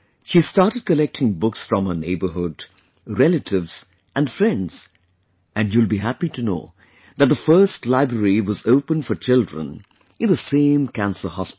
She started collecting books from herneighbourhood, relatives and friends and you will be happy to know that the first library was opened for children in the same cancer hospital